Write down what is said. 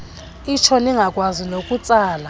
itsho ningakwazi nokutsala